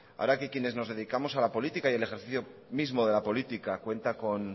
ahora que quienes nos dedicamos a la política y el ejercicio mismo de la política cuenta con